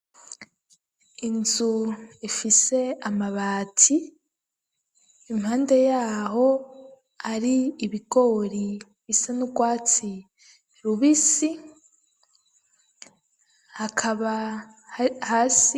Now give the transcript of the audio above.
Inzu ifise amabati impande yaho hari ibigori bisa n'urwatsi rubisi hakaba hasi.